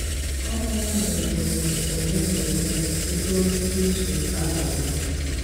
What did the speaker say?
Ọ na-ewe ùgbùrù ọ̀lè na ọ̀lè rùò ìzù àbàwò.